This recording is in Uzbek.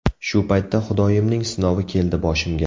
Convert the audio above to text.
Shu paytda Xudoyimning sinovi keldi boshimga.